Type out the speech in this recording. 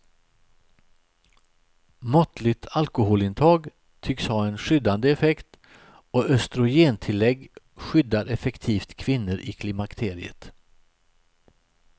Måttligt alkoholintag tycks ha en skyddande effekt och östrogentillägg skyddar effektivt kvinnor i klimakteriet.